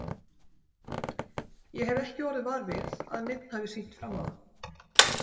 Ég hef ekki orðið var við að neinn hafi sýnt fram á það.